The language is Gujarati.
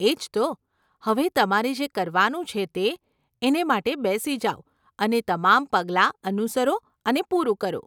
એજ તો. હવે તમારે જે કરવાનું છે તે, એને માટે બેસી જાવ અને તમામ પગલાં અનુસરો અને પૂરું કરો.